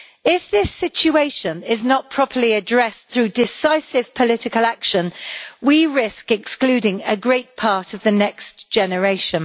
If this situation is not properly addressed through decisive political action we risk excluding a great part of the next generation.